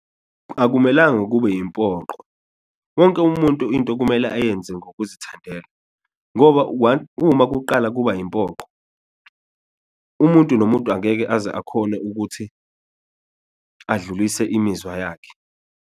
Akumelanga kube yimpoqo wonke umuntu into kumele ayenze ngokuzithandela ngoba one, uma kuqala kuba yimpoqo umuntu nomuntu angeke aze akhone ukuthi adlulise imizwa yakhe.